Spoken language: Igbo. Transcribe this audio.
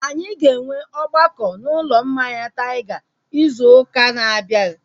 Anyị ga-enwe ọgbakọ na ụlọ mmanya Taiga izu ụka na-abịa